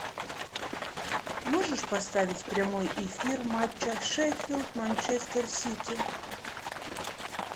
можешь поставить прямой эфир матча шеффилд манчестер сити